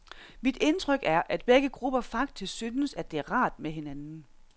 Mit indtryk er, at begge grupper faktisk synes, at det er rart med hinanden.